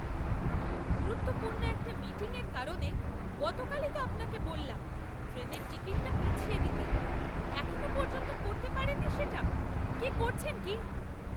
গুরুত্বপূর্ণ একটা মিটিংয়ের কারণে গতকালই তো আপনাকে বললাম ট্রেনের টিকিটটা পিছিয়ে দিতে, এখনও পর্যন্ত করতে পারেননি সেটা, কি করছেন কি?